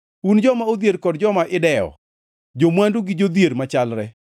un joma odhier kod joma idew, jo-mwandu gi jodhier machalre: